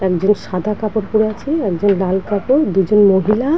একজন সাদা কাপড় পরে আছেন একজন লাল কাপড় দুজন মহিলা --